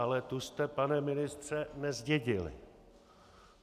Ale tu jste, pane ministře, nezdědili.